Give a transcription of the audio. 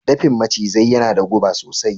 Dafin macizai yana da guba sosai.